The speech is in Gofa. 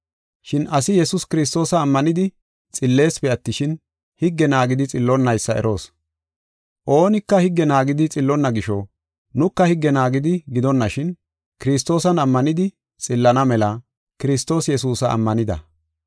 Shin asi Yesuus Kiristoosa ammanidi xilleesipe attishin, higge naagidi xillonnaysa eroos. Oonika higge naagidi xillonna gisho, nuka higge naagidi gidonashin, Kiristoosan ammanidi xillana mela Kiristoosi Yesuusa ammanida.